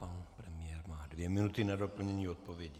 Pan premiér má dvě minuty na doplnění odpovědi.